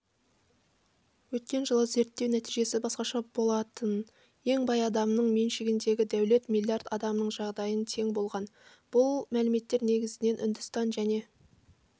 өткен жылы зерттеу нәтижесі басқаша болатын ең бай адамның меншігіндегі дәулет миллиард адамның жағдайына тең болған бұл мәліметтер негізінен үндістан және